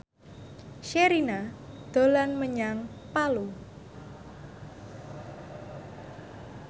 Sherina dolan menyang Palu